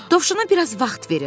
Dovşana bir az vaxt verin.